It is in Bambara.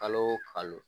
Kalo o kalo